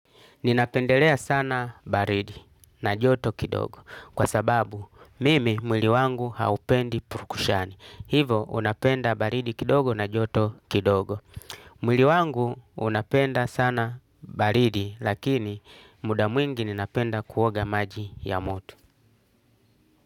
Ninapendelea sana baridi na joto kidogo kwa sababu mimi mwili wangu haupendi purukushani. Hivo unapenda baridi kidogo na joto kidogo. Mwili wangu unapenda sana baridi lakini muda mwingi ninapenda kuoga maji ya moto.